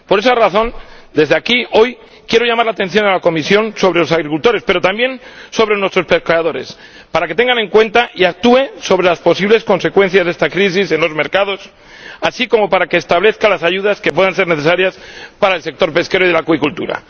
Por esa razón, desde aquí, hoy quiero llamar la atención de la Comisión sobre los agricultores, pero también sobre nuestros pescadores, para que tenga en cuenta y actúe sobre las posibles consecuencias de esta crisis en los mercados, así como para que establezca las ayudas que puedan ser necesarias para el sector pesquero y de la acuicultura.